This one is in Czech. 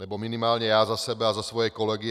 Nebo minimálně já za sebe a za svoje kolegy.